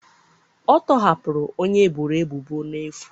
A tọhapụrụ onye eboro ebubo n'efu